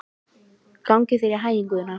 Gangi þér allt í haginn, Guðna.